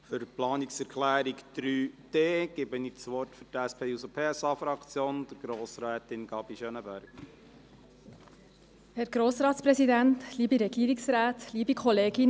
Für die Planungserklärung 3.d erteile ich Grossrätin Gabi Schönenberger das Wort für die SP-JUSO-PSA-Fraktion.